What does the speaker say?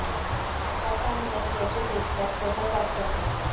बटाटा आणि दही याचे फेसपॅक त्वचा साफ करतात